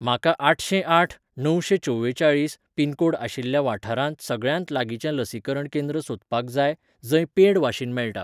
म्हाका आठशेंआठ णवशेंचवेचाळीस पिनकोड आशिल्ल्या वाठारांत सगळ्यांत लागींचें लसीकरण केंद्र सोदपाक जाय जंय पेड वाशीन मेळटा.